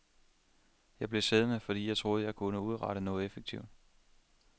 Jeg blev siddende, fordi jeg troede, at jeg kunne udrette noget effektivt.